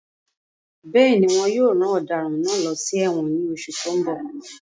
Bẹ́ẹ̀ni, wón yóò rán ọ̀daràn náà lọ sí ẹ̀wọ̀n ní oṣù tó ń bọ̀